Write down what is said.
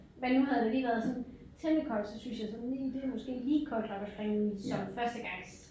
Men nu havde det lige været sådan temmelig koldt så syntes jeg sådan lige det er måske lige koldt nok at springe i som førstegangs